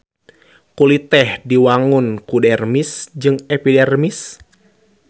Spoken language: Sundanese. Kulit teh diwangun ku dermis jeung epidermis.